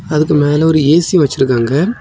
அதுக்கு மேல ஒரு ஏ_சி வச்சிருக்காங்க.